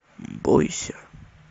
бойся